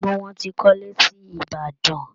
Gbogbo wọn ti kọ́ ilé sí Ìbàdàn